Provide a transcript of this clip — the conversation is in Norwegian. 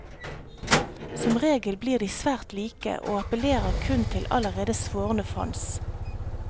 Som regel blir de svært like og appellerer kun til allerede svorne fans.